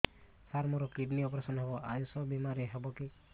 ସାର ମୋର kidney operation ହେବ ଆୟୁଷ ବିମାରେ ହେବ କି